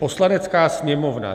Poslanecká sněmovna